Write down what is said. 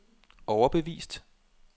overbevist